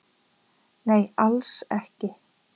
Nei alls ekki